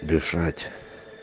лежать